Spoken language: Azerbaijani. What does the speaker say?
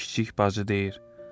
Kiçik bacı deyir: